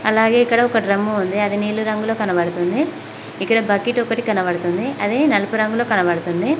అలాగే ఇక్కడ ఒక డ్రమ్ము ఉంది అది నీలి రంగులొ కనబడుతుంది ఇక్కడ బకెట్ ఒకటి కనబడుతుంది అది నలుపు రంగులొ కనబడుతుంది.